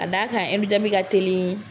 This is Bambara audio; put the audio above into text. Ka d'a kan ɛndu jabini ka teli.